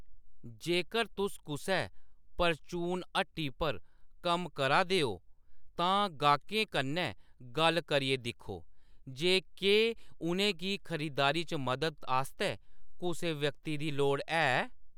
जेकर तुस कुसै परचून हट्टी पर कम्म करा दे ओ, तां गाह्‌‌कें कन्नै गल्ल करियै दिक्खो जे केह्‌‌ उʼनेंगी खरीदारी च मदद आस्तै कुसै व्यक्ति दी लोड़ है।